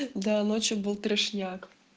да ночью был трешняк